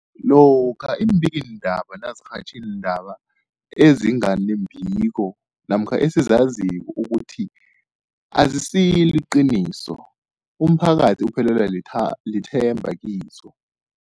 Lokhuya iimbikiindaba nazirhatjha iindaba ezinga nembiko namkha ezizaziko ukuthi azisiliqiniso, umphakathi uphelelwa litha lithemba kizo.